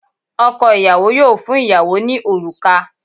Ọkọ ìyàwó yóò fún ìyàwó ní òrùka